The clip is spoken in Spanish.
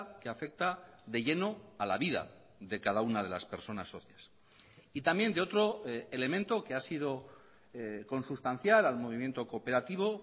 que afecta de lleno a la vida de cada una de las personas socias y también de otro elemento que ha sido consustancial al movimiento cooperativo